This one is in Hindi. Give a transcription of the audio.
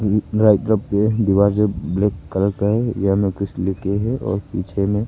ये पूरा एक तरफ पे दीवार जो ब्लैक कलर का है यहां में कुछ लिख के है और पीछे में--